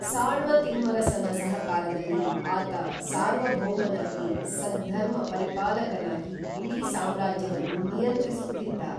ಸಾಳ್ವ ತಿಮ್ಮರಸನ ಸಹಕಾರದಲ್ಲಿ ಆತ ಸಾರ್ವಭೌಮನಾಗಿ ಸದ್ಧರ್ಮ ಪರಿಪಾಲಕನಾಗಿ ಇಡೀ ಸಾಮ್ರಾಜ್ಯವನ್ನು ನಿಯಂತ್ರಿಸುತ್ತಿದ್ದ